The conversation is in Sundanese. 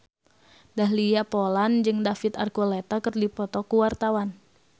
Dahlia Poland jeung David Archuletta keur dipoto ku wartawan